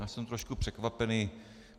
Já jsem trošku překvapený.